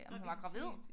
Graviditet